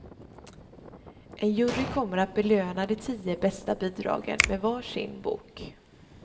En jury kommer att belöna de tio bästa bidragen med varsin bok.